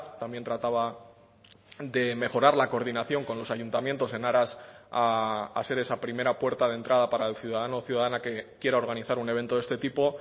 también trataba de mejorar la coordinación con los ayuntamientos en aras a ser esa primera puerta de entrada para el ciudadano o ciudadana que quiera organizar un evento de este tipo